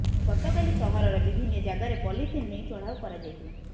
ଗତକାଲି ସହରର ବିଭିନ୍ନ ଜାଗାରେ ପଲିଥିନ ନେଇ ଚଢାଉ କରଯାଇଥିଲା